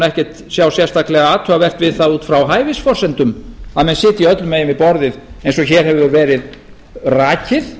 ekkert sjá sérstaklega athugavert við það út frá hæfisforsendum að menn sitji öllum megin við borðið eins og hér hefur verið rakið